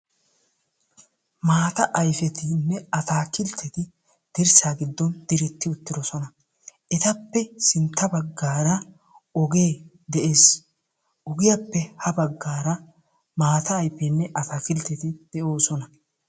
maataa ayfetinne ataakiltetti dirsaa giddon diretti uttidosona. tappe sintta bagaara ogee des. ogiyaappe ha bagaara maata ayfettinee ataa kiltteti de'oosona.